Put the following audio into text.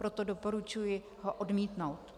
Proto doporučuji ho odmítnout.